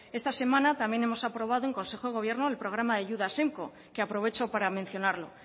esta semana también hemos aprobado en consejo del gobierno el programa de ayudas que aprovecho para mencionarlo